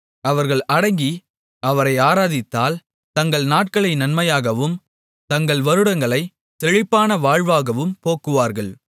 அவர்கள் அடங்கி அவரை ஆராதித்தால் தங்கள் நாட்களை நன்மையாகவும் தங்கள் வருடங்களைச் செழிப்பான வாழ்வாகவும் போக்குவார்கள்